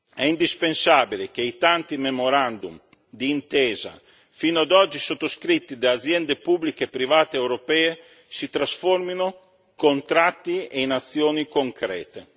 È indispensabile che i tanti memorandum d'intesa fino ad oggi sottoscritti da aziende pubbliche e private europee si trasformino in contratti e in azioni concrete.